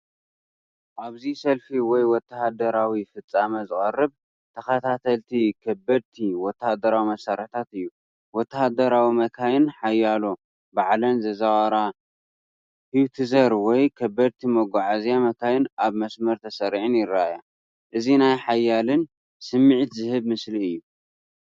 ኣብዚ ሰልፊ ወይ ወተሃደራዊ ፍጻመ ዝቐርብ ተኸታተልቲ ከበድቲ ወተሃደራዊ መሳርሒታት እዩ። ወተሃደራዊ መካይን ሓያሎ ባዕለን ዝዝውራ ሃዊትዘር ወይ ከበድቲ መጓዓዝያ መካይን ኣብ መስመር ተሰሪዐን ይረኣያ። እዚ ናይ ሓይልን ስምዒት ዝህብ ምስሊ እዩ።